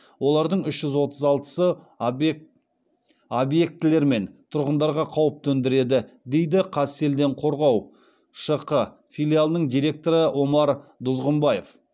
олардың үш жүз отыз алтысы объектілер мен тұрғындарға қауіп төндіреді дейді қазселденқорғау шқ филиалының директоры омар дұзғымбаев